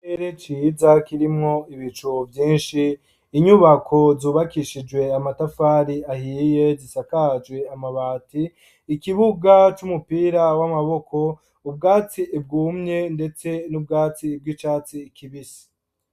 Ikirere ciza kirimwo ibicu vyinshi inyubako zubakishijwe amatafari ahiye zisakajwe amabati ikibuga c'umupira w'amaboko ubwatsi bwumye ndetse n'ubwatsi bw'icatsi kibisi.